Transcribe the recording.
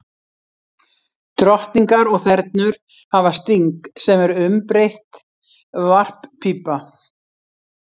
Drottningar og þernur hafa sting, sem er umbreytt varppípa.